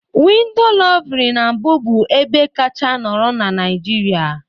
Window louvre na mbụ bụ ebe kacha nọrọ na Naịjirịa